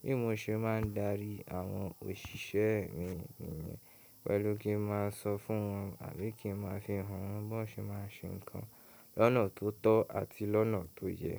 Bí mo ṣe máa ń darí àwọn òṣìṣẹ́ mi, mi niyẹn pẹ̀lú kí n máa sọ fún wọn àbí kí n máa fi hàn wọ́n bí wọ́n ṣe máa ń ṣe nǹkan lọ́nà tó tọ́ àti lọ́nà tó yẹ.